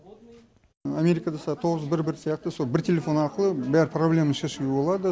америкада солай тоғыз бір бір сияқты сол бір телефон арқылы бәрі проблема шешуге болады